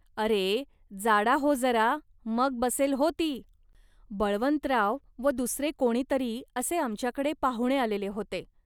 अरे, जाडा हो जरा, मग बसेल हो ती. बळवंतराव व दुसरे कोणीतरी असे आमच्याकडे पाहुणे आलेले होते